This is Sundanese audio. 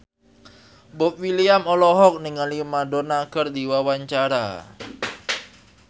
Boy William olohok ningali Madonna keur diwawancara